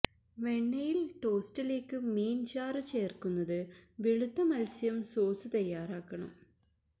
വെണ്ണയിൽ ടോസ്റ്റിലേക്ക് മീൻ ചാറു ചേർക്കുന്നത് വെളുത്ത മത്സ്യം സോസ് തയ്യാറാക്കണം